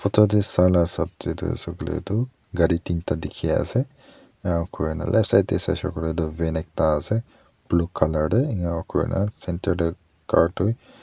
tadey sa la sap dey du saboley du gari tinta dikhi asey iniakurina left side saishey kuiley du van ekta asey blue colour dey iniakurina center dey car tu--